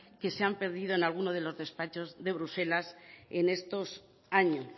que se han perdido en alguno de los despachos de bruselas en estos años